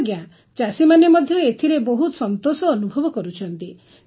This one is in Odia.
ହଁ ଆଜ୍ଞା ଚାଷୀମାନେ ମଧ୍ୟ ଏଥିରେ ବହୁତ ସନ୍ତୋଷ ଅନୁଭବ କରୁଛନ୍ତି